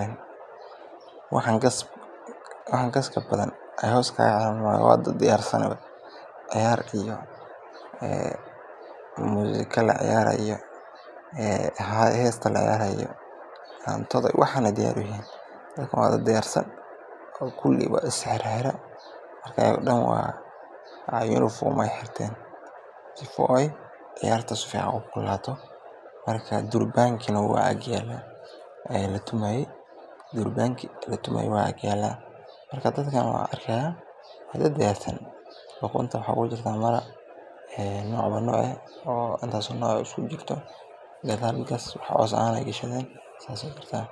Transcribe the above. rabo, waxaan gaska badan aay hoos iskaaga xireen, waa dad diyaarsan oo kuli is xirxireen, durbanki waa agyaala, marka dadkan waa dad diyaarsan, saas ayaa jirtaa.